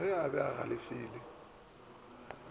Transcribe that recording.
ge a be a galefile